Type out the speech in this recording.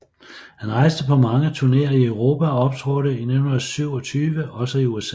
Han rejste på mange turnéer i Europa og optrådte i 1927 også i USA